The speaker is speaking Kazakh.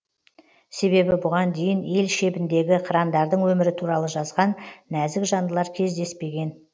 себебі бұған дейін ел шебіндегі қырандардың өмірі туралы жазған нәзік жандылар кездеспеген